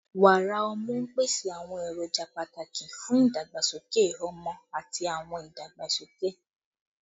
Wàrà ọmú n pese awọn eroja pataki fun idagbasoke ọmọ ati awọn idagbasoke